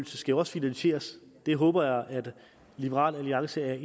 skal jo også finansieres det håber jeg at liberal alliance er